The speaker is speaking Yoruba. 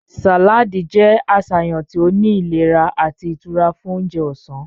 Saladi jẹ aṣayan ti o ni ilera ati itura fun ounjẹ ọsan.